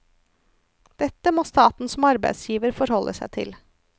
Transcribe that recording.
Dette må staten som arbeidsgiver forholde seg til.